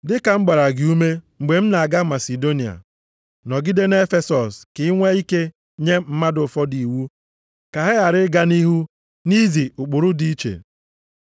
Dị ka m gbara gị ume, mgbe m na-aga Masidonia, nọgide nʼEfesọs ka i nwee ike nye mmadụ ụfọdụ iwu ka ha ghara ịga nʼihu nʼizi ụkpụrụ dị iche.